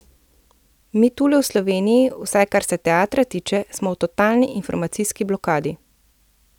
Mi tule v Sloveniji, vsaj kar se teatra tiče, smo v totalni informacijski blokadi.